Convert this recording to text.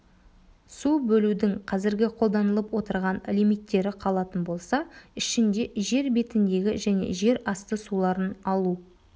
су бөлудің қазіргі қолданылып отырған лимиттері қалатын болса ішінде жер бетіндегі және жерасты суларын алу